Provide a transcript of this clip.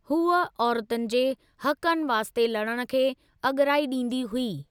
हूअ औरतुनि जे हक़नि वास्ते लड़ण खे अॻिराई ॾींदी हुई।